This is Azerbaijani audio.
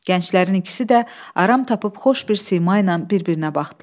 Gənclərin ikisi də aram tapıb xoş bir sima ilə bir-birinə baxdılar.